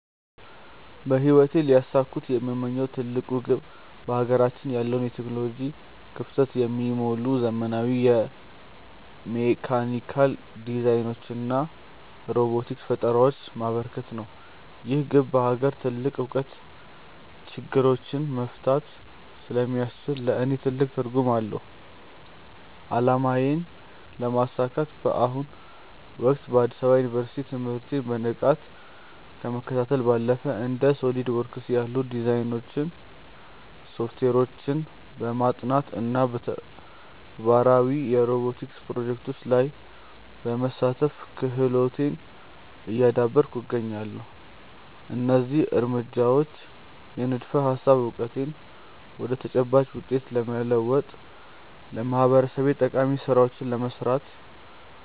በህይወቴ ሊያሳኩት የምመኘው ትልቁ ግብ በሀገራችን ያለውን የቴክኖሎጂ ክፍተት የሚሞሉ ዘመናዊ የሜካኒካል ዲዛይኖችንና ሮቦቲክስ ፈጠራዎችን ማበርከት ነው። ይህ ግብ በሀገር በቀል እውቀት ችግሮችን መፍታት ስለሚያስችል ለእኔ ትልቅ ትርጉም አለው። አላማዬን ለማሳካት በአሁኑ ወቅት በአዲስ አበባ ዩኒቨርሲቲ ትምህርቴን በንቃት ከመከታተል ባለፈ፣ እንደ SOLIDWORKS ያሉ የዲዛይን ሶፍትዌሮችን በማጥናት እና በተግባራዊ የሮቦቲክስ ፕሮጀክቶች ላይ በመሳተፍ ክህሎቴን እያዳበርኩ እገኛለሁ። እነዚህ እርምጃዎች የንድፈ-ሀሳብ እውቀቴን ወደ ተጨባጭ ውጤት በመለወጥ ለማህበረሰቤ ጠቃሚ ስራዎችን ለመስራት